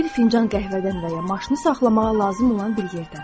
Məsələn bir fincan qəhvədən və ya maşını saxlamağa lazım olan bir yerdən.